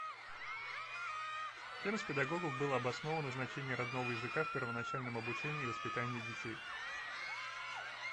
кем из педагогов было обосновано значение родного языка в первоначальном обучении и воспитании детей